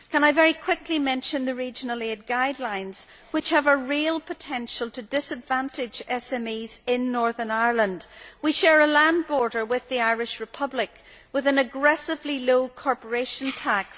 Can I very quickly mention the regional aid guidelines, which have a real potential to disadvantage SMEs in Northern Ireland. We share a land border with the Irish Republic, which has an aggressively low corporation tax.